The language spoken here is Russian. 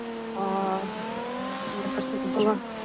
а мне кажется было